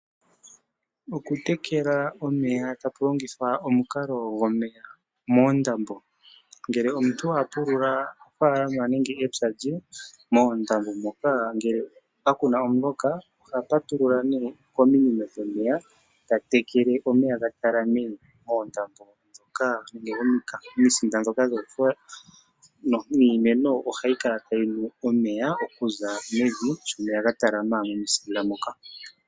Oku tekela omeya taku longithwa omukalo gwomeya moondambo ,ngele omuntu apulula ofalama nenge mepya lye ondambo moka ngele kakuna omuloka oha patulula ne kominino dhomeya eta tekele omeya ga talame moondambo dhoka momisinda dhoka dhofola niimeno ohayi kala tayi nu omeya okuza mevi shomeya ga talama momisinda moka